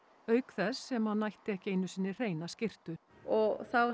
auk þess sem hann ætti ekki einu sinni hreina skyrtu og þá